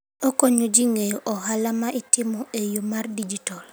Okonyo ji ng'eyo ohala ma itimo e yo mar digital.